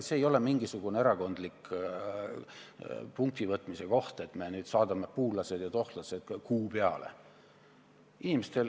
See ei ole mingisugune erakondlik punktivõitmise koht, et me nüüd saadame puulased ja tohtlased kuu peale.